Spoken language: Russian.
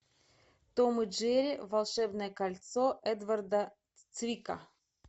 том и джерри волшебное кольцо эдварда цвика